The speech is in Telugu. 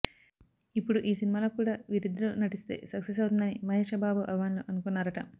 ఇప్పుడు ఈ సినిమాలో కూడా వీరిద్దరూ నటిస్తే సక్సెస్ అవుతుందని మహేశ్ బాబు అభిమానులు అనుకున్నారట